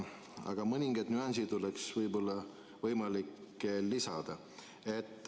Aga mõningad nüansid oleks võimalik lisada.